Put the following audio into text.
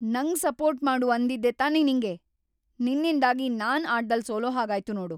ನಂಗ್ ಸಪೋರ್ಟ್‌ ಮಾಡು ಅಂದಿದ್ದೆ ತಾನೇ ‌ನಿಂಗೆ! ನಿನ್ನಿಂದಾಗಿ ನಾನ್ ಆಟ್ದಲ್ ಸೋಲೋ ಹಾಗಾಯ್ತು‌ ನೋಡು!